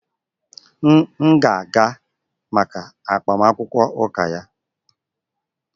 M ga-aga maka agbamakwụkwọ ụka ya